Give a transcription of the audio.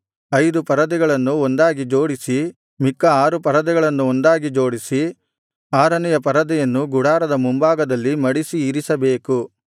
ಐದು ಪರದೆಗಳನ್ನು ಒಂದಾಗಿ ಜೋಡಿಸಿ ಮಿಕ್ಕ ಆರು ಪರದೆಗಳನ್ನು ಒಂದಾಗಿ ಜೋಡಿಸಿ ಆರನೆಯ ಪರದೆಯನ್ನು ಗುಡಾರದ ಮುಂಭಾಗದಲ್ಲಿ ಮಡಿಸಿ ಇರಿಸಬೇಕು